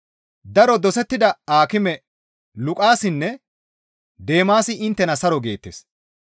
Daro dosettida aakime Luqaasinne Deemaasi inttena saro geettes.